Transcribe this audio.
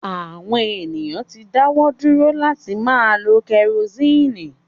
Àwọn èèyàn ti dáwọ́ dúró láti máa lo kẹrosíìnì